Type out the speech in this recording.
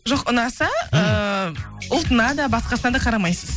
жоқ ұнаса ыыы ұлтына да басқасына да қарамайсыз